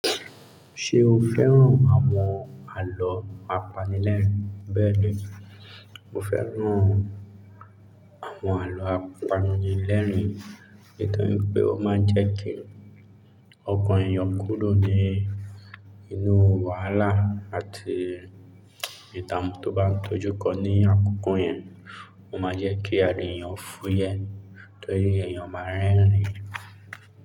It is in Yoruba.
Ṣé o fẹ́ràn àwọn àlọ́ apanilẹ́rìn-ín? Bẹ́ẹ̀ni, mo fẹ́ràn àwọn àlọ́ apanilẹ́rìn-ín, nítorí pé ó máa ń jẹ́ kí ọkàn èèyàn kúrò ní inú wàhálà àti ìdààmú tó bá ń tọ́jú kọ ní àkókò yẹn. Ó máa ń jẹ́ kí ara èèyàn fúyẹ́, torí èèyàn máa ń rẹ́rìn-ín.